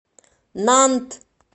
нант